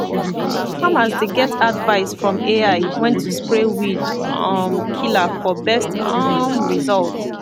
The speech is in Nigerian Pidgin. farmers dey get advice from ai when to spray weed um killer for best um result